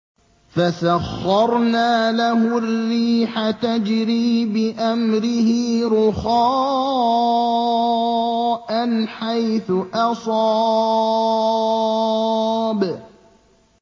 فَسَخَّرْنَا لَهُ الرِّيحَ تَجْرِي بِأَمْرِهِ رُخَاءً حَيْثُ أَصَابَ